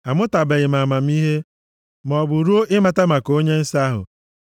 Amụtabeghị m amamihe, maọbụ ruo ịmata maka Onye Nsọ ahụ.